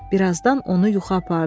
Bir azdan onu yuxu apardı.